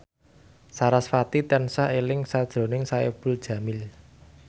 sarasvati tansah eling sakjroning Saipul Jamil